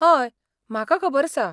हय, म्हाका खबर आसा.